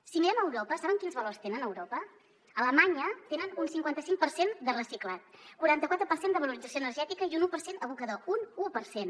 si mirem a europa saben quins valors tenen a europa a alemanya tenen un cinquanta cinc per cent de reciclat quaranta quatre per cent de valorització energètica i un u per cent abocador un u per cent